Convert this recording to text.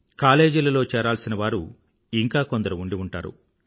కాలేజీలలో చేరాల్సిన వారు ఇంకా కొందరు ఉండి ఉంటారు